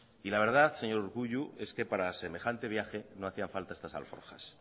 y la verdad señor urkullu es que para semejante viaje no hacían falta estas alforjas